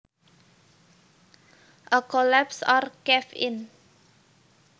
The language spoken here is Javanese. A collapse or cave in